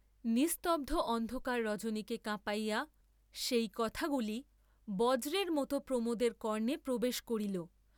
নিস্তব্ধ অন্ধকার রজনীকে কাঁঁপাইয়া, সেই কথাগুলি বজ্রের মত প্রমোদের কর্ণে প্রবেশ করিল ।